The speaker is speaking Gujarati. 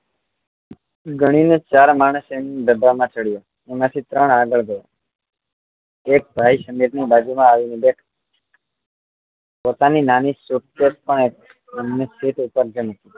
ગણીને ચાર માણસ ડબ્બા માં ચડ્યા એમાંથી ત્રણ આગળ ગયા એક ભાઈ સમીર ની બાજુ આ આવી ને બેઠો પોતાની નાની suitcase પણ એમણે sit ઉપર મૂકી